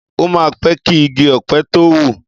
Ọ mà n pẹ̀ ki igi ọ̀pẹ̀ tó wú